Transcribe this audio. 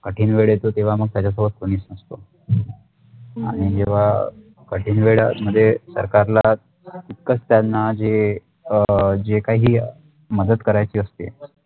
कठीण वेडे तो त्येवा मग त्याचा शोबत कमी असतो आणि जेव्हा कठीण वेळामधे सरकारला तितकंच त्यांना जे काही मदत करायची असते